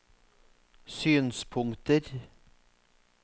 synspunkter